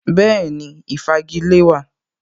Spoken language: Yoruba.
Bẹ́ẹ̀ni, Ìfagilée wà